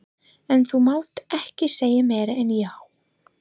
En þú mátt ekki segja meira en já.